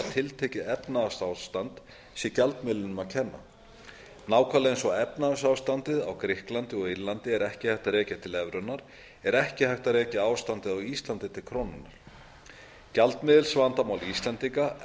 tiltekið efnahagsástand sé gjaldmiðlinum að kenna nákvæmlega eins og að efnahagsástandið á grikklandi og írlandi er ekki hægt að rekja til evrunnar er ekki hægt að rekja ástandið á íslandi til krónunnar gjaldmiðilsvandamál íslendinga